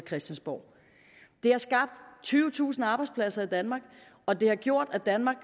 christiansborg det har skabt tyvetusind arbejdspladser i danmark og det har gjort at danmark